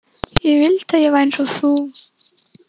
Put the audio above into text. Ég vildi að ég væri eins og þú.